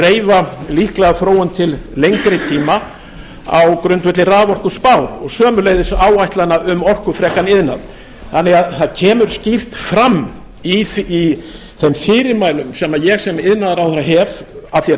reifa líklega þróun til lengri tíma á grundvelli raforkuspár og sömuleiðis áætlana um orkufrekan iðnað þannig að það kemur skýrt fram í þeim fyrirmælum sem ég sem iðnaðarráðherra hef að því er